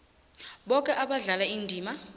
boke abadlala indima